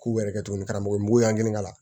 K'u yɛrɛ kɛ tuguni karamɔgɔ yan k'a la